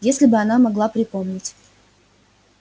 если бы она могла припомнить